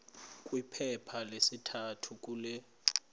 kwiphepha lesithathu kule